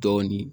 Dɔɔnin